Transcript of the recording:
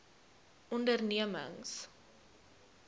ondernemings